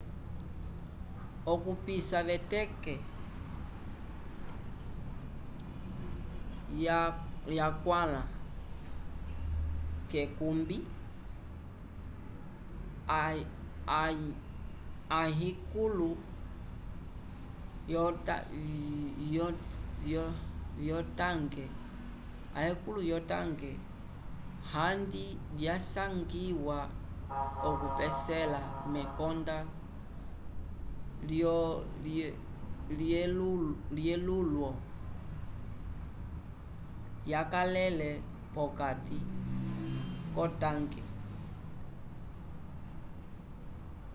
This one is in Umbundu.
okupisa veteke yakwãla k'ekumbi ayikulo vyotanke handi vyasangiwa okupesela mekonda lyelulwo yakalele vokati k'otanke